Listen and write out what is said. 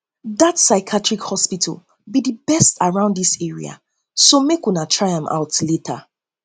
dat psychiatrist hospital be um the best around dis area so area so make una try am out later